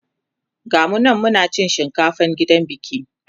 gamu nan Muna cin shinkafan gidan biki